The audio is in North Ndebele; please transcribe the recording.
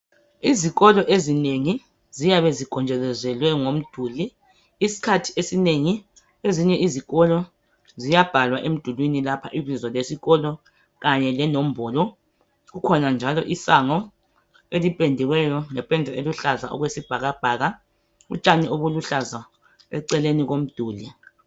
Izikolo ezinengi ziyabe zigonjolozelwe ngomduli isikhathi esinengi ezinye izikolo ziyabhalwa emdulwini lapha ibizo lesikolo kanye lenombolo kukhona, njalo isango elipendiweyo ngepeda eluhlaza okwesibhakabhaka, utshani obuluhlaza eceleni komduli.